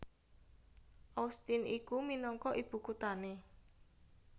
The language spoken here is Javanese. Austin iku minangka ibukuthané